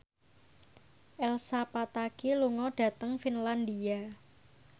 Elsa Pataky lunga dhateng Finlandia